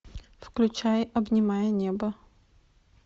включай обнимая небо